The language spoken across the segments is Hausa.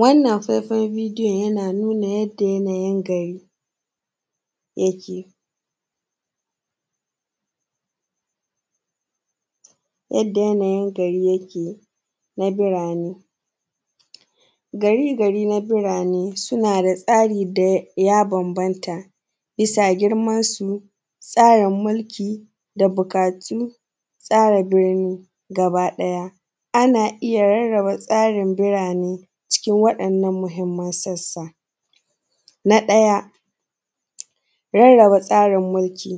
Wannan fefan bidiyon yana nuna yanda yanayin gari yake, yanda yanayin garin yake na birane, gari-gari na birane suna da tsari da ya bambanta bisa girmansu, tsarin milki da buƙatun tsari birni gabaɗaya. Ana iya rarraba tsarin bira ne cikin wa’yannan muhinman sassa na ɗaya rarraba tsarin mulki,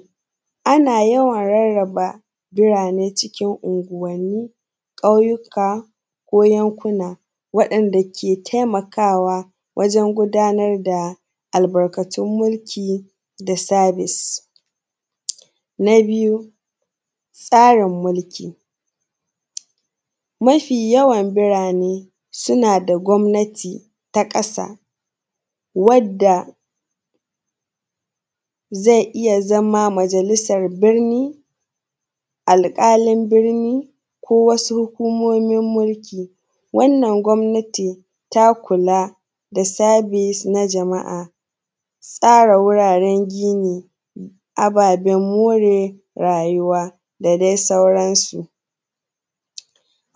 ana yawan rarraba birane cikin unguwanni, kwauyuka ko yankuna waɗanda ke taimakawa wajen gudanar da albarka yin mulki, sa service. Na biyu tsarin mulki, mafi yawan burane suna da gwamnati ta ƙasa wadda zai iya zama majalisan birni, alƙalin birni ko wasu hukumomin mulki, wannan kwamnatin ta kula da service na jama’a, tsara wuraren gini, ababen more rayuwa da dai sauransu.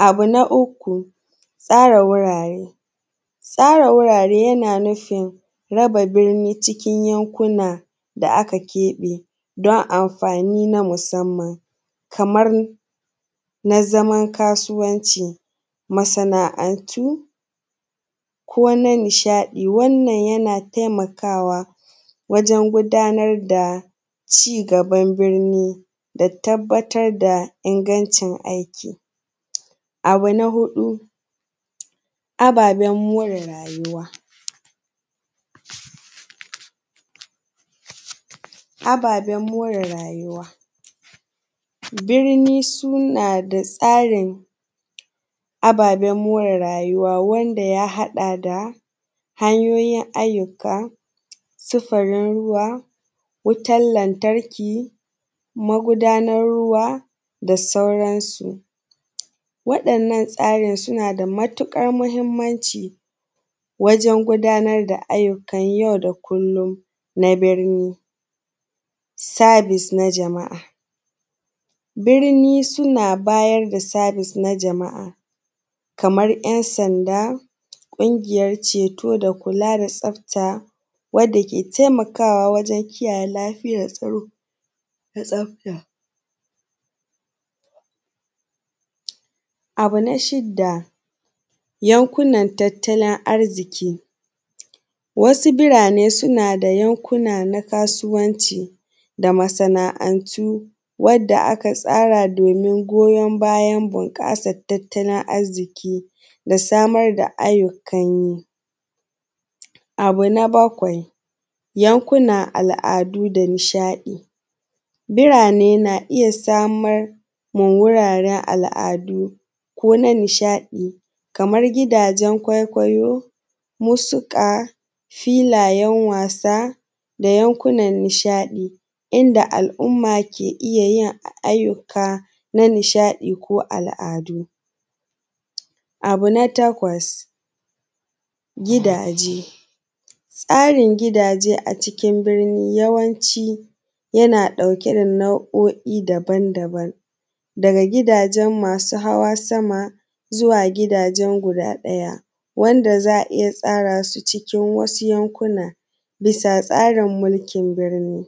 Abu na uku tsara wurare, tsara wurare yana nufin raba birni cikin yankuna da aka keɓe don anfani na musanman kamar na zaman kasuwanci, masana’antu ko na nishaɗi wannan yana taimakawa wajen gudanar da cigaban birni da tabbatar da ingancin aiki, abu na huɗu ababen more rayuwa, birni suna da tsarin ababen more rayuwa wanda ya haɗa da hanyoyin ayyuka, sufurin ruwa, wutan lantarki, magudanan ruwa da sauransu waɗannan tsarin suna da matuƙar mahinmanci wajen gudanar da ayyukan yau da kullon. Madalli service na jama’a, birni suna bayar da service na jama’a kaman ‘yasanda, ƙungiyan ceto da kula da tsafta wanda ke taimakawa wajen kula da lafiyan tsaro da tsafta. Abu na shida yankunan tattalin arziƙi, wasu birane suna da yankuna na kasuwanci da masana’antu wanda aka tsara domin goyan bayan bunƙasan tattalin arziƙi da samar da ayyukan yi, abu na bakwai yankunan al’adu da nishaɗi, birane na iya samar ma wuraren al’adu ko na nishaɗi kaman gidajen kwaikwayo, musika, filayen wasa da yankunan nishaɗi inda al’umma ke iya yin ayyuka na nishaɗi ko al’adu. Abu na takwas, tsarin gidaje a cikin birni yawanci yana ɗauke da nau’oi daban-daban daga gidajen masu hawa sama zuwa gidajen guda ɗaya wanda za a iya tsara su cikin wasu yankuna bisa tsarin mulkin wurin.